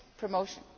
promotion.